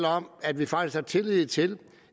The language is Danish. om at vi faktisk har tillid til